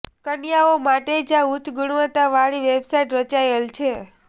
કન્યાઓ માટે જ આ ઉચ્ચ ગુણવત્તાવાળી વેબસાઈટ્સ રચાયેલ છે